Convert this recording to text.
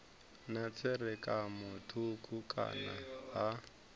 na tserakano thukhu kana ha